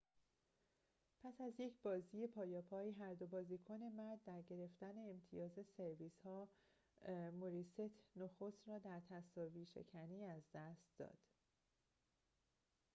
پس از یک بازی پایاپای هر دو بازیکن مرد در گرفتن امتیاز سرویس‌ها موری ست نخست را در تساوی‌شکنی از دست داد